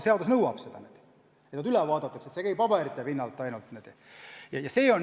Seadus nõuab, et inimesed üle vaadatakse, et see kõik ei käi ainult paberite põhjal.